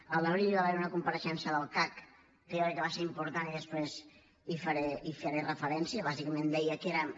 a l’abril hi va haver una compareixença del cac que jo crec que va ser important i després hi faré referència bàsicament deia que érem